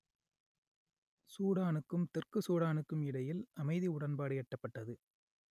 சூடானுக்கும் தெற்கு சூடானுக்கும் இடையில் அமைதி உடன்பாடு எட்டப்பட்டது